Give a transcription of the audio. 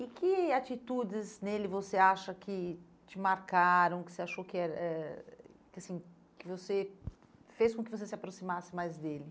E que atitudes nele você acha que te marcaram, que você achou que eh que assim que você fez com que você se aproximasse mais dele?